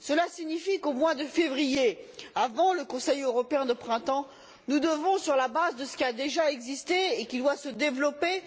Cela signifie qu'au mois de février, avant le Conseil européen de printemps, nous devons sur la base de ce qui a déjà eu lieu et qui doit se développer